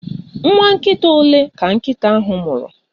Nwa nkita ole ka nkịta ahụ mụrụ?